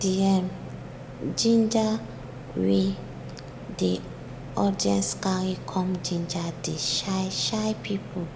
d um ginger wey de audience carry come ginger de shy shy people